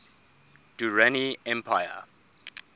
durrani empire